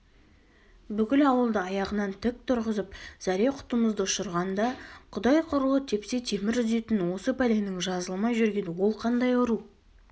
бүкіл ауылды аяғынан тік тұрғызып зәре-құтымызды ұшырғанда құдай құрлы тепсе темір үзетін осы пәленің жазылмай жүрген ол қандай ауру